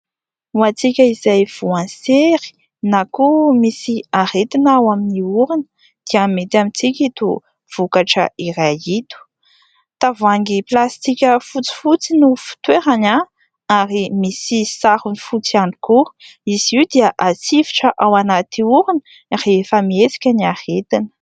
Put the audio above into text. Ho antsika izay voan'ny sery na koa misy aretina ao amin'ny orona dia mety amintsika ity vokatra iray ity. Tavoahangy plastika fotsifotsy no fitoerany ary misy sarony fotsy ihany koa; izy io dia hatsifotra ao anaty orona rehefa mihesika ny aretina.